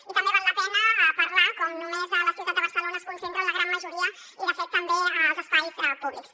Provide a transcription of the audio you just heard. i també val la pena parlar de com només a la ciutat de barcelona es concentren la gran majoria i de fet també als espais públics